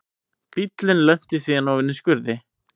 Bíllinn lenti síðan ofan í skurði